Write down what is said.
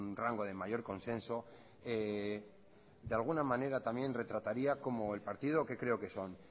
rango de mayor consenso de alguna manera también retrataría como el partido que creo que son